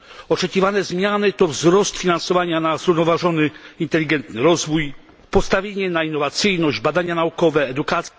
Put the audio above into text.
Oczekiwane zmiany to wzrost finansowania na zrównoważony, inteligentny rozwój, postawienie na innowacyjność, badania naukowe, edukację.